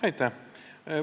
Aitäh!